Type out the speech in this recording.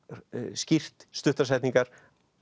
skýrt stuttar setningar